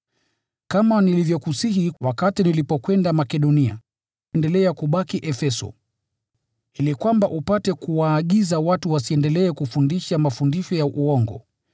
Kama nilivyokusihi wakati nilipokwenda Makedonia, endelea kubaki Efeso, ili kwamba upate kuwaagiza watu wasiendelee kufundisha mafundisho ya uongo